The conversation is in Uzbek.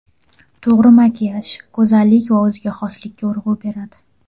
To‘g‘ri makiyaj go‘zallik va o‘ziga xoslikka urg‘u beradi.